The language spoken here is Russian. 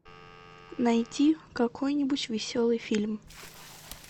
найти какой нибудь веселый фильм